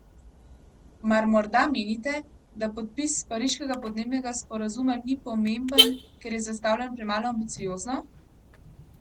Mar moda menite, da podpis pariškega podnebnega sporazuma ni pomemben, ker je zastavljen premalo ambiciozno?